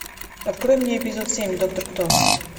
открой мне эпизод семь доктор кто